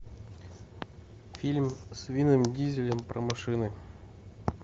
фильм с вином дизелем про машины